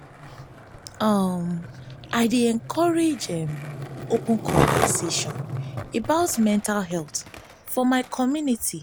um i dey encourage open um conversations about mental health for my community.